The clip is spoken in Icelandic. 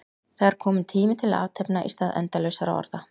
Það er kominn tími til athafna í stað endalausra orða.